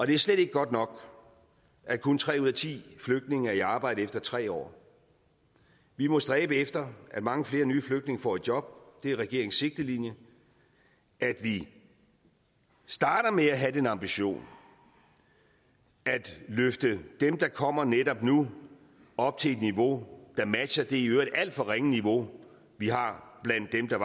det er slet ikke godt nok at kun tre ud af ti flygtninge er i arbejde efter tre år vi må stræbe efter at mange flere nye flygtninge får et job det er regeringens sigtelinje at vi starter med at have den ambition at løfte dem der kommer netop nu op til et niveau der matcher det i øvrigt alt for ringe niveau vi har blandt dem der